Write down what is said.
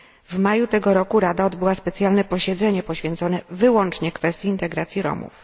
W maju tego roku Rada odbyła specjalne posiedzenie poświęcone wyłącznie kwestii integracji Romów.